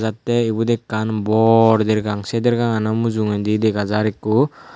atte ebot ekkan bor dergang sei dergangan mujungodi dega jar ekko.